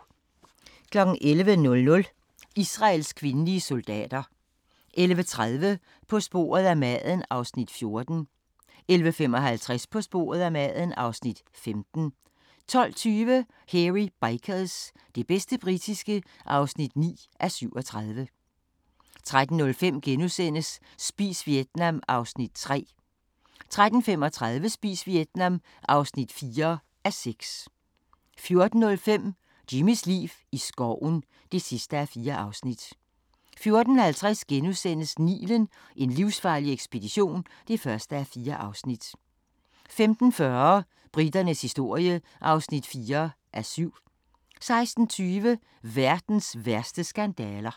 11:00: Israels kvindelige soldater * 11:30: På sporet af maden (Afs. 14) 11:55: På sporet af maden (Afs. 15) 12:20: Hairy Bikers – det bedste britiske (9:37) 13:05: Spis Vietnam (3:6)* 13:35: Spis Vietnam (4:6) 14:05: Jimmys liv i skoven (4:4) 14:50: Nilen: En livsfarlig ekspedition (1:4)* 15:40: Briternes historie (4:7) 16:20: Verdens værste skandaler